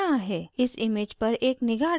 इस image पर एक निगाह डालते हैं